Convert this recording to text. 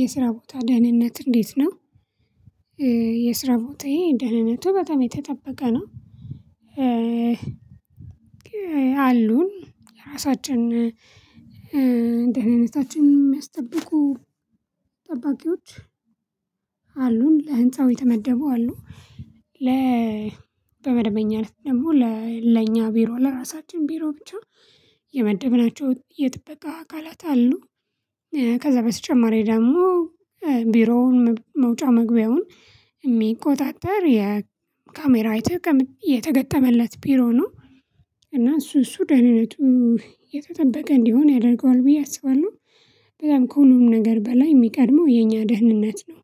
የስራ ቦታ ደህንነት እንዴት ነው? የስራ ቦታዬ ደህንነቱ በጣም ጠበቀ ነው። ያሉን የራሳችን ደህንነታችን የሚያስጠብቁ ጠባቂዎች ለህንፃው የተመደበው አሉ ለ በመደበኛ እለት ደግሞ ለኛ ቢሮ ለራሳችን ቢሮ ብቻ የመደብናቸው የጥበቃ አካላት አሉ ከዛ በስተጨማሪ ደግሞ ቢሮውን መውጫ መግቢያውን የሚቆጣጠር የካሜራ የተገጠመለት ቢሮ ነው እና እሱ እሱ ደህንነቱ የተጠበቀ እንዲሆን ያደርገዋል ብዬ አስባለሁ በጣም ከሁሉም ነገር በላይ የሚቀድመው የኛ ደህንነት ነው